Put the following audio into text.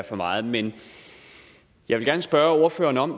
for meget men jeg vil gerne spørge ordføreren om